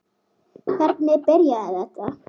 Hvernig byrjaði þetta?